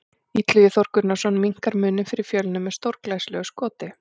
Illugi Þór Gunnarsson minnkar muninn fyrir Fjölni með stórglæsilegu skoti!